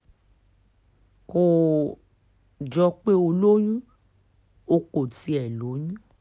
kò um jọ pé ó lóyún o kò tiẹ̀ lóyún